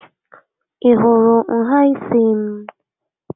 Ị hụrụ nhà ísí m?